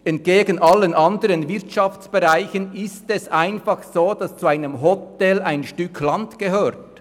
Im Unterschied zu allen anderen Wirtschaftsbereichen ist es einfach so, dass zu einem Hotel ein Stück Land gehört.